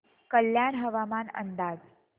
कल्याण हवामान अंदाज